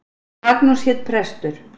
Magnús hét prestur.